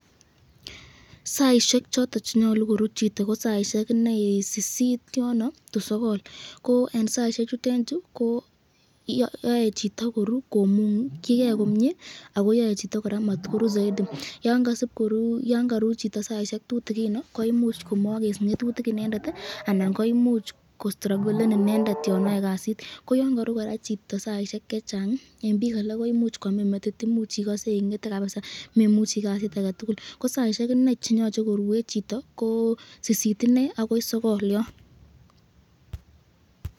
Saisyek choton chenyalu koruu ko saisyek inei sisit to sokol ko eng saisyek chutenchu yae chito koruu konukyiken komye akoyae chito koraa matkoru zaidi, yan karuu chito saisyek tutikino koimuch komakes ngetutik inendet anan koimuch ko stragolen inendet yon ae kasit, ko yan karuu koraa chito saisyek chechang eng bik alak koimuch kwamin metit , koimuch ikase ingete kabisa memuchi kasit aketukul ko saisyek inei cheyoche koruen chito ko sisit inei akoi sokol yon.